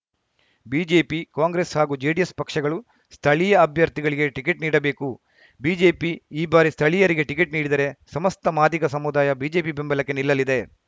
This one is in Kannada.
ಬಿಜೆಪಿ ಕಾಂಗ್ರೆಸ್‌ ಹಾಗೂ ಜೆಡಿಎಸ್‌ ಪಕ್ಷಗಳು ಸ್ಥಳೀಯ ಅಭ್ಯರ್ಥಿಗಳಿಗೆ ಟಿಕೆಟ್‌ ನೀಡಬೇಕು ಬಿಜೆಪಿ ಈ ಬಾರಿ ಸ್ಥಳೀಯರಿಗೆ ಟಿಕೆಟ್‌ ನೀಡಿದರೆ ಸಮಸ್ತ ಮಾದಿಗ ಸಮುದಾಯ ಬಿಜೆಪಿ ಬೆಂಬಲಕ್ಕೆ ನಿಲ್ಲಲಿದೆ